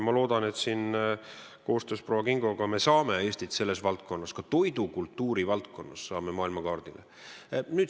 Ma loodan, et koostöös proua Kingoga me aitame Eestit selles valdkonnas, ka toidukultuuri valdkonnas, maailmakaardile.